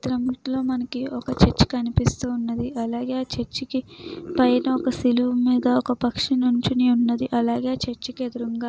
ఈ చిత్రంలో మనకి ఒక చర్చి కనిపిస్తూ ఉన్నది. ఆ చర్చి పైన సిలువ సింబల్ ఉన్నది. ఆ చర్చి కి ఎదురుంగా--